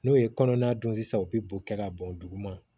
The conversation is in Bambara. N'o ye kɔnɔana don sisan u bɛ bo kɛ ka bɔn duguma